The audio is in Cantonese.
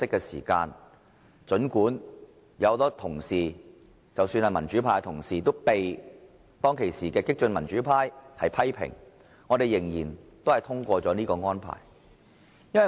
因此，儘管民主派同事被激進的民主派批評，我們仍然通過這項安排。